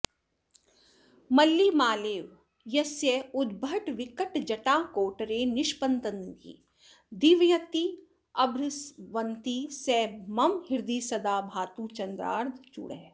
मल्लीमालेव यस्योद्भटविकटजटाकोटरे निष्पतन्ती दीव्यत्यभ्रस्रवन्ती स मम हृदि सदा भातु चन्द्रार्धचूडः